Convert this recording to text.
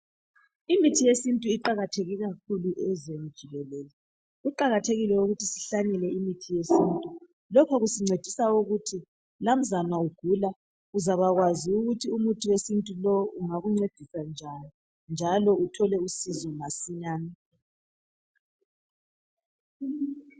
Imithi yesintu iqakathekile kakhulu ezweni jikelele kuqakathekile ukuthi sihlanyele imithi yesintu lokho kusincedisa ukuthi lamzwana ugula uzabakwazi ukuthi umuthi wesintu lowu ungakuncedisa njani njalo uthole usizo masinyane.